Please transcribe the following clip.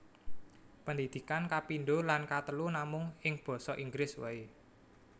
Pendidikan kapindho lan katelu namung ing basa Inggris waé